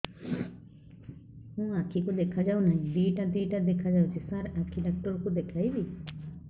ମୋ ଆଖିକୁ ଦେଖା ଯାଉ ନାହିଁ ଦିଇଟା ଦିଇଟା ଦେଖା ଯାଉଛି ସାର୍ ଆଖି ଡକ୍ଟର କୁ ଦେଖାଇବି